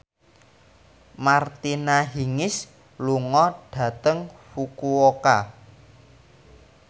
Martina Hingis lunga dhateng Fukuoka